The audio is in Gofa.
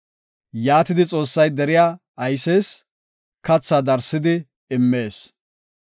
Yaatidi Xoossay deriya aysees; kathaa darsidi immees.